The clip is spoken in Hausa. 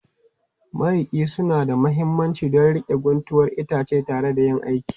Mariƙa suna da mahimmanci don riƙe guntuwar itace tare yayin aiki